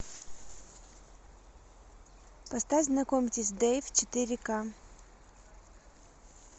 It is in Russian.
поставь знакомьтесь дэйв четыре ка